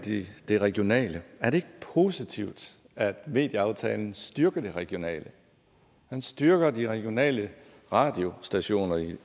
det regionale er det ikke positivt at medieaftalen styrker det regionale man styrker de regionale radiostationer i